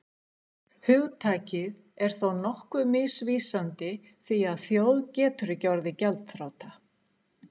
Hugtakið er þó nokkuð misvísandi því að þjóð getur ekki orðið gjaldþrota.